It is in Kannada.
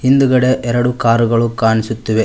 ಹಿಂದ್ಗಡೆ ಎರಡು ಕಾರ್ ಗಳು ಕಾಣಿಸುತ್ತಿವೆ.